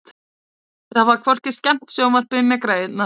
Þeir hafa hvorki skemmt sjónvarpið né græjurnar.